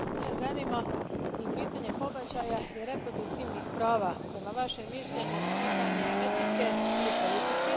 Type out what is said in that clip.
Mene zanima je li pitanje pobačaja i reproduktivnih prava prema vašem mišljenju pitanje etike ili politike?